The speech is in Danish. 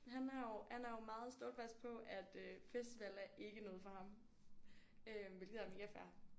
Han er jo han er jo meget stålfast på at øh festival er ikke noget for ham øh hvilket er mega fair